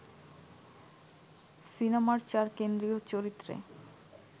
সিনেমার চার কেন্দ্রীয় চরিত্রে